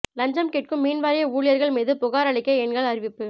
லஞ்சம் கேட்கும் மின்வாரிய ஊழியர்கள் மீது புகார் அளிக்க எண்கள் அறிவிப்பு